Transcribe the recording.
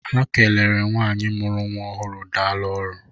Ha kelere nwaanyị mụrụ nwa ọhụrụ daalụ ọrụ.